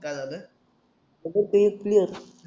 काय झालं व